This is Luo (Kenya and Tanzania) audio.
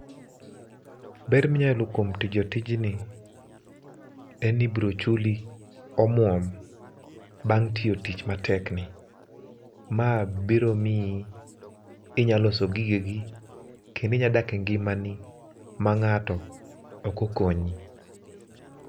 Ber minya yudo kuom timo tijni en ni ibiro chuli omuom bang tiyo tich matek ni, ma biro miyi inya loso gigegi kendo inya dak e ngimani ma ngato ok okonyi